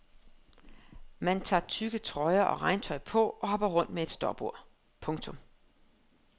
Man tager tykke trøjer og regntøj på og hopper rundt med et stopur. punktum